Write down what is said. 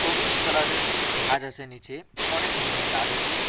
সবুজ কালারের ঘাস আছে নীচে অনেক ধরনের গাছ আছে তা--